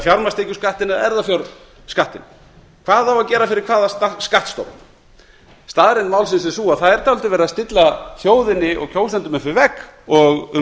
fjármagnstekjuskattinn eða erfðafjárskattinn hvað á að gera fyrir hvaða skattstofn staðreynd málsins er sú að það er dálítið verið að stilla þjóðinni og kjósendum upp við vegg og um